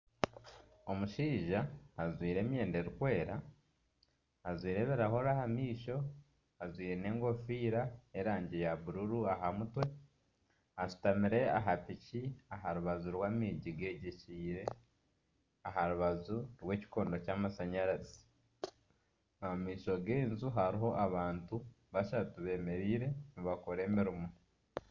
Omushaija ajwaire emyenda erikwera, ajwaire ebirahuri aha maisho. Ajwaire n'enkofiira y'erangi ya bururu aha mutwe. Ashutamire aha piki aha rubaju rw'amaizi gegyekyeire aha rubaju rw'ekikondo ky'amashanyarazi. Omu maisho g'enju hariho abantu bashatu bemereire nibakora emirimo.